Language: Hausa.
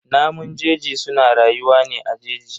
Namun jeji suna rayuwa ne a jeji.